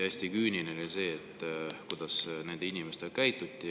Hästi küüniline on see, kuidas nende inimestega käituti.